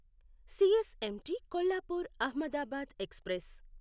CSMT Kolhapur Ahmedabad express